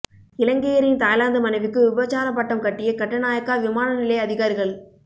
இலங்கையரின் Thailand மனைவிக்கு விபச்சாரப் பட்டம் கட்டிய கட்டுநாயக்கா விமான நிலைய அதிகாரிகள்